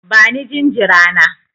Bani jinjira na!